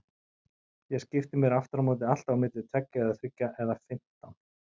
Ég skipti mér afturámóti alltaf á milli tveggja eða þriggja eða fimmtán.